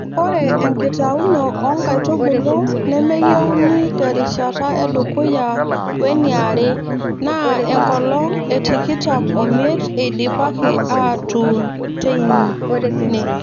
Ore enkitauno oo nkaitubulu nemeyieuni terishata edukuya we niare naa enkolong e tikitam o miet eidipaki aatuun tein